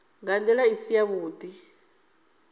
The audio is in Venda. nga ndila i si yavhudi